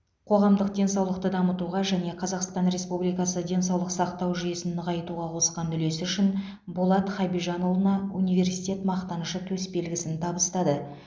қоғамдық денсаулықты дамытуға және қазақстан республикасы денсаулық сақтау жүйесін нығайтуға қосқан үлесі үшін болат хабижанұлына университет мақтанышы төсбелгісін табыстады